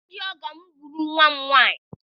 Ndị ọgọ m gburu nwa m nwaanyị.